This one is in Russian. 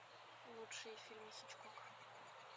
лучшие фильмы хичкока